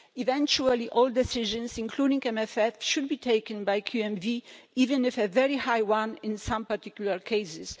Eventually all decisions, including on the MFF, should be taken by QMV, even if a very high one in some particular cases.